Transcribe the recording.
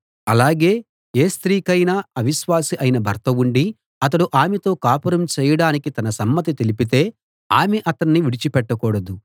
అలాగే ఏ స్త్రీకైనా అవిశ్వాసి అయిన భర్త ఉండి అతడు ఆమెతో కాపురం చేయడానికి తన సమ్మతి తెలిపితే ఆమె అతణ్ణి విడిచిపెట్టకూడదు